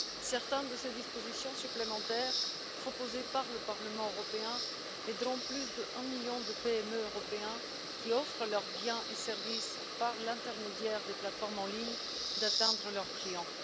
Certaines de ces dispositions supplémentaires proposées par le Parlement européen aideront plus d'un million de PME européennes, qui offrent leurs biens et services par l'intermédiaire des plateformes en ligne, à atteindre leurs clients.